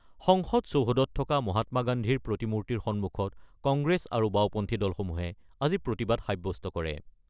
সংসদ চৌহদত থকা মহাত্মা গান্ধীৰ প্ৰতিমূৰ্তিৰ সন্মুখত কংগ্ৰেছ আৰু বাওঁপন্থী দলসমূহে আজি প্ৰতিবাদ সাব্যস্ত কৰে।